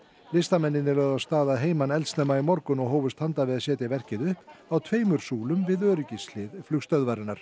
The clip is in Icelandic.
listamennirnir lögðu af stað að heiman eldsnemma í morgun og hófust handa við að setja verkið upp á tveimur súlum við öryggishlið flugstöðvarinnar